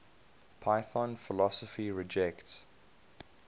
python philosophy rejects